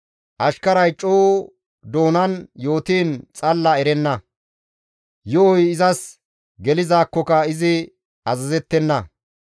Ashkaray coo doonan yootiin xalla erenna; yo7oy izas gelizaakkoka izi azazettenna.